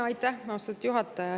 Aitäh, austatud juhataja!